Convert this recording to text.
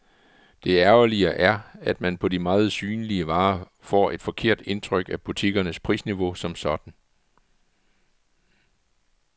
Det ærgerlige er, at man på de meget synlige varer får et forkert indrryk af butikkernes prisniveau som sådan.